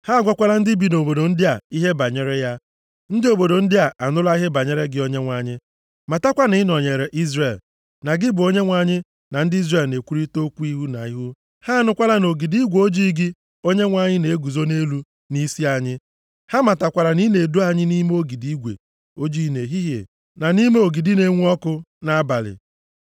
Ha agwakwala ndị bi nʼobodo ndị a ihe banyere ya. Ndị obodo ndị a anụla ihe banyere gị Onyenwe anyị, matakwa na ị nọnyeere Izrel, na gị bụ Onyenwe anyị na ndị Izrel na-ekwurịta okwu ihu na ihu. Ha anụkwala na ogidi igwe ojii gị Onyenwe anyị na-eguzo nʼelu, nʼisi anyị. Ha matakwara na ị na-edu anyị nʼime ogidi igwe ojii nʼehihie, na nʼime ogidi na-enwu ọkụ nʼabalị.